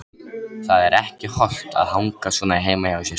Það er ekki hollt að hanga svona heima hjá sér.